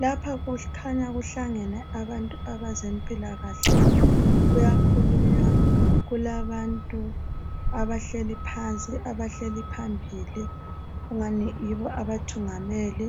Lapha kukhanya kuhlangene abantu bezempilakahle kuyakhulunywa kulabantu abahleli phansi abahleli phambili kungani yibo abathungameli